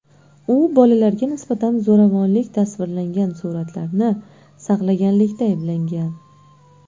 U bolalarga nisbatan zo‘ravonlik tasvirlangan suratlarni saqlaganlikda ayblangan.